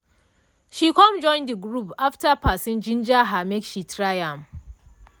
she com join de group after person ginger her make she try am.